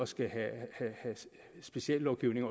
skulle have speciel lovgivning